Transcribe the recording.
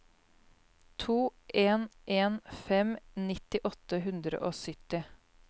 to en en fem nitti åtte hundre og sytti